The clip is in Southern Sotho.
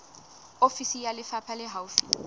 ofisi ya lefapha le haufi